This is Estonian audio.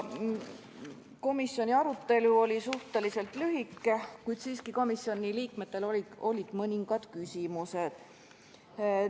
Komisjoni arutelu oli suhteliselt lühike, kuid komisjoni liikmetel olid siiski mõningad küsimused.